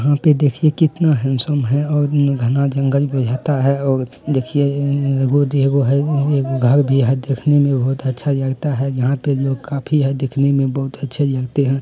यहाँ पर देखिए कितना हैन्डसम है और न घना जंगल बुझाता है। और देखिए अ एगो एगो है एगो घर भी है। देखने में बहुत अच्छा लगता है। यहां पर लोग काफी है दिखने में बहुत अच्छे लगते हैं ।